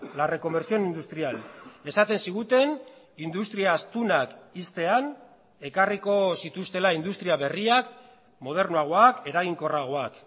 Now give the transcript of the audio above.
la reconversión industrial esaten ziguten industria astunak ixtean ekarriko zituztela industria berriak modernoagoak eraginkorragoak